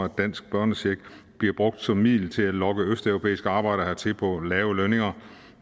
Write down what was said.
dansk børnecheck bliver brugt som middel til at lokke østeuropæiske arbejdere hertil på lave lønninger